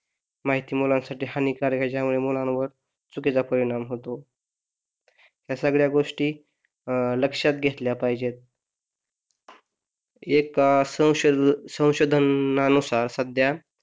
माहिती मुलांसाठी हानिकारक याच्यामुळे मुलांवर चुकीचा परिणाम होतो या सगळ्या गोष्टी अह लक्षात घेतल्या पाहिजे एक असं संशोधनानुसार सध्या